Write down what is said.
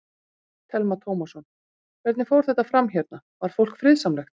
Telma Tómasson: Hvernig fór þetta fram hérna, var fólk friðsamlegt?